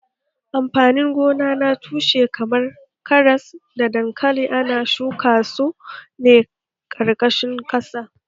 Amfanin gona na tushe kamar karas da dankali ana shuka su ne a ƙarƙashin ƙasa